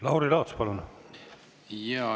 Lauri Laats, palun!